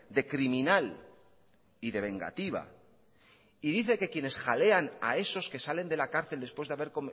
de criminal y de vengativa y dice que quienes jalean a esos que salen de la cárcel después de haber